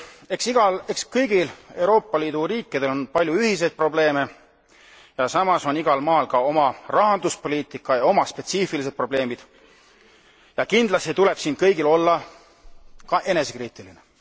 Eks kõigil Euroopa Liidu riikidel on palju ühiseid probleeme ja samas on igal maal ka oma rahanduspoliitika ja oma spetsiifilised probleemid ja kindlasti tuleb siin kõigil olla ka enesekriitiline.